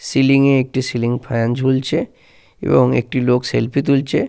Ceiling এ একটি ceiling fan ঝুলছে এবং একটি লোক সেলফি তুলছে।